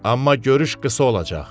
Amma görüş qısa olacaq.